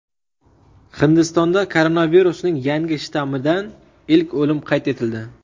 Hindistonda koronavirusning yangi shtammidan ilk o‘lim qayd etildi.